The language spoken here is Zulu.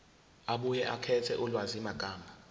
abuye akhethe ulwazimagama